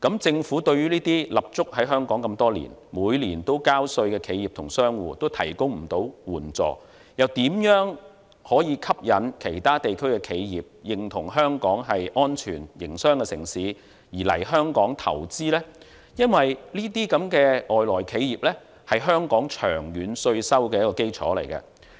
政府對於這些立足香港多年、每年都交稅的企業及商戶都未能提供援助，又如何可以吸引其他地區的企業，認同香港是安全營商的城市而來香港投資呢？因為這些外來企業是香港長遠稅收的一個基礎。